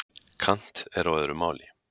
kant er á öðru máli